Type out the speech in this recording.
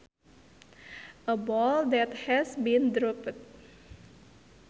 A ball that has been dropped